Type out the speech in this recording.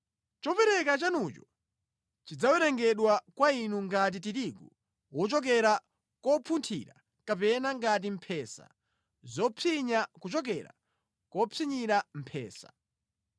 Chopereka chanucho chidzawerengedwa kwa inu ngati tirigu wochokera kopunthira kapena ngati mphesa zopsinya kuchokera kopsinyira mphesa.